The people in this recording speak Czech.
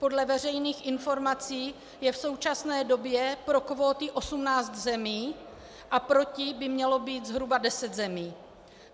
Podle veřejných informací je v současné době pro kvóty 18 zemí a proti by mělo být zhruba 10 zemí.